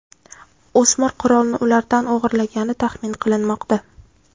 O‘smir qurolni ulardan o‘g‘irlagani taxmin qilinmoqda.